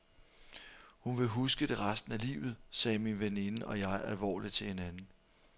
Hun vil huske det resten af livet, sagde min veninde og jeg alvorligt til hinanden.